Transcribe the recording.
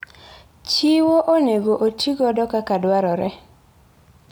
Chiwo onego oti godo kaka dwarore.